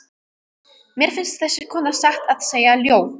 Mér finnst þessi kona satt að segja ljót.